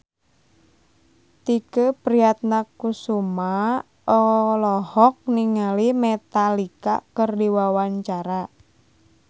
Tike Priatnakusuma olohok ningali Metallica keur diwawancara